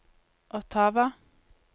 Ottawa